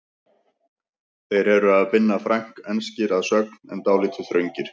Þeir eru af Binna Frank, enskir að sögn en dálítið þröngir.